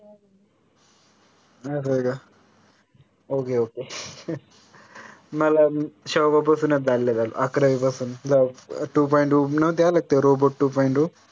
असं आहे का? okay okay मला अकरावी पासून बघ two point O नव्हते आले तेव्हा robot two point O